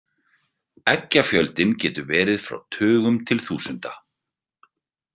Eggjafjöldinn getur verið frá tugum til þúsunda.